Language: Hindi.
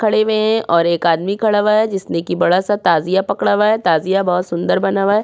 खड़े हुए हैं और एक आदमी खड़ा हुआ है जिसने की बडा सा ताजिया पकड़ा हुआ है ताजिया बोहोत सुन्दर बना हुआ है।